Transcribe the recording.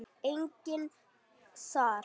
Enginn þar?